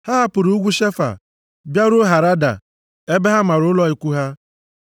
Ha hapụrụ ugwu Shefa bịaruo Harada ebe ha mara ụlọ ikwu ha.